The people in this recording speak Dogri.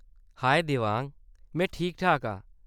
हाए देवांग ! में ठीक-ठाक आं।